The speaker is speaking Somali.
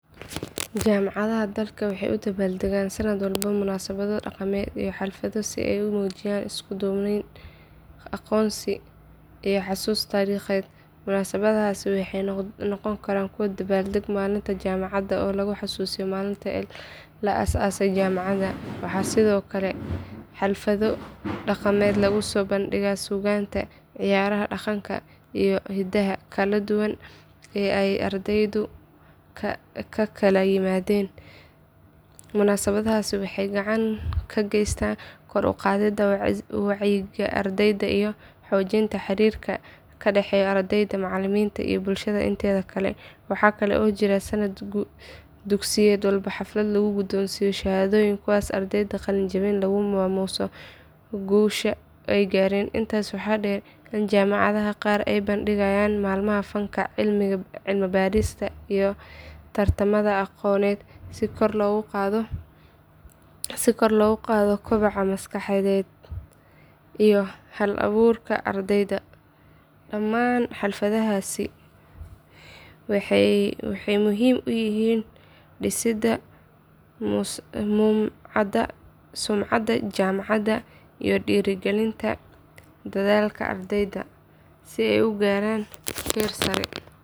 Jaamacadaha dalka waxay u dabbaaldegaan sanad walba munaasabado dhaqameed iyo xaflado si ay u muujiyaan isku duubni, aqoonsi iyo xasuus taariikheed. Munaasabadahaasi waxay noqon karaan dabaaldegga maalinta jaamacadda oo lagu xuso maalintii la aas aasay jaamacadda. Waxaa sidoo kale jira xaflado dhaqameed lagu soo bandhigo suugaanta, ciyaaraha dhaqanka iyo hidaha kala duwan ee ay ardaydu ka kala yimaadeen. Munaasabadahaasi waxay gacan ka geystaan kor u qaadidda wacyiga ardayda iyo xoojinta xiriirka ka dhaxeeya ardayda, macallimiinta iyo bulshada inteeda kale. Waxaa kale oo jira sanad dugsiyeed walba xaflad lagu gudoonsiiyo shahaadooyin kuwaasoo ardayda qalinjabisa lagu maamuuso guusha ay gaareen. Intaas waxaa dheer in jaamacadaha qaar ay qabanqaabiyaan maalmaha fanka, cilmi baarista iyo tartamada aqooneed si kor loogu qaado kobaca maskaxeed iyo hal abuurka ardayda. Dhammaan xafladahaasi waxay muhiim u yihiin dhisidda sumcadda jaamacadda iyo dhiirrigelinta dadaalka ardayda si ay u gaaraan heer sare.